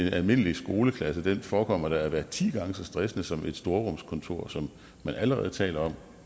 en almindelig skoleklasse da forekommer at være ti gange så stressende som et storrumskontor som man allerede taler om